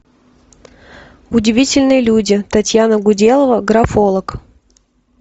удивительные люди татьяна гуделова графолог